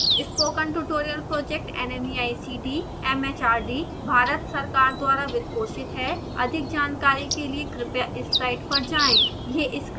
spoken tutorial project nmeict mhrd Bharat सरकार द्वारा वित्त पोषित हैअधिक जानकारी के लिए कृपया इस साइट पर जाएं